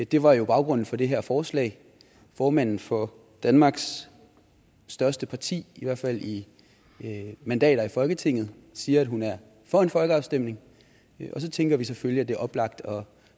det var jo baggrunden for det her forslag formanden for danmarks største parti i hvert fald i mandater i folketinget siger at hun er for en folkeafstemning og så tænker vi selvfølgelig at det er oplagt at